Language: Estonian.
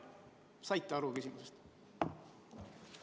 Kas saite küsimusest aru?